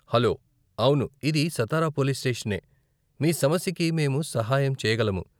Hello, అవును ఇది Satara police స్టేషనే, మీ సమస్యకి మేము సహాయం చేయగలము.